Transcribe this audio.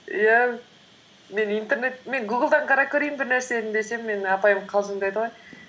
иә мен гуглдан қарап көрейін бір нәрсені десем менің апайым қалжыңдайды ғой